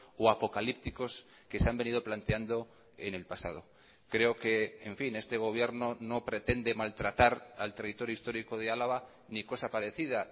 o apocalípticos que se han venido planteando en el pasado creo que en fin este gobierno no pretende maltratar al territorio histórico de álava ni cosa parecida